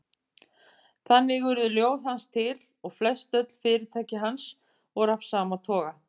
Þannig urðu ljóð hans til og flestöll fyrirtæki hans voru af sama toga.